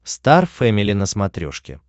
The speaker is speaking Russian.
стар фэмили на смотрешке